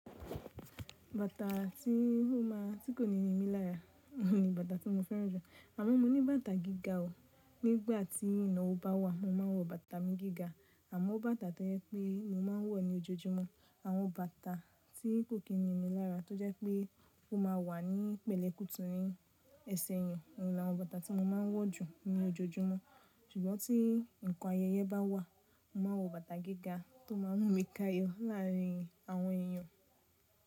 Bàtà tí ó ma tí kò ní nimi lára ni bàtà tí mo fẹ́ràn jù. Àmọ́ mo ní bàtà gíga o. Nígbà tí iná ọwo bà wa mo mà nwọ bàtà mi gíga. Àmọ́ bàtà tó jẹ́ pé mo ma ń wọ̀ ní ojoojúmọ́ àwọn bàtà tí kò kí ni ini lára tó jẹ́ pé ó ma wà ní pẹ̀lẹ́ kùtù ni ẹsẹ̀ èèyàn. Ohun làwọn bàtà tí mo ma ń wọ̀ jù ní ojoojúmọ́. Ṣùgbọ́n tí nǹkan ayẹyẹ bá wà mo ma wọ bàtà gíga tó máa ń mú mi táàyọ́ láàrin àwọn èèyàn.